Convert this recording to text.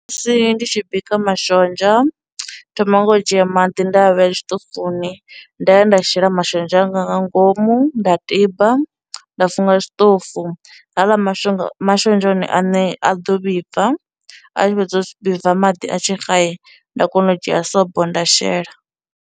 Musi ndi tshi bika mashonzha thoma nga u dzhia maḓi nda a vheya tshiṱofuni, nda ya nda shela mashonzha anga nga ngomu nda tiba, nda funga tshiṱofu, haaḽa mashonga mashonzha one aṋe a ḓo vhibva, a tshi fhedza u vhibva maḓi a tshi xa nda kona u dzhia sobo nda shela.